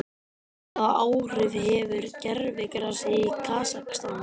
Hvaða áhrif hefur gervigrasið í Kasakstan?